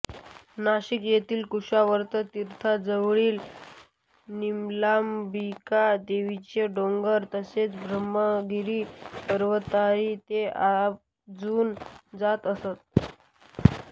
नाशिक येथील कुशावर्त तीर्थाजवळील निलांबिका देवीचा डोंगर तसेच ब्रह्मगिरी पर्वतावरही ते आवर्जून जात असत